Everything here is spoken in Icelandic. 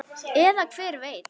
Eða hver veit?